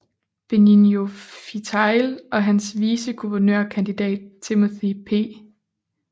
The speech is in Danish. Benigno Fitial og hans viceguvernørkandidat Timothy P